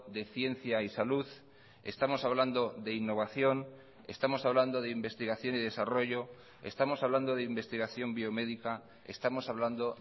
de ciencia y salud estamos hablando de innovación estamos hablando de investigación y desarrollo estamos hablando de investigación biomédica estamos hablando